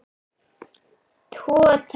Tvo, takk!